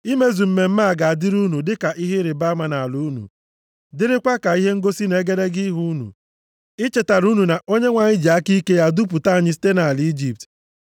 Imezu mmemme a ga-adịrị unu dịka ihe ịrịbama nʼala unu, dịrịkwa ka ihe ngosi nʼegedege ihu unu, ichetara unu na Onyenwe anyị ji aka ike ya dupụta anyị site nʼala Ijipt.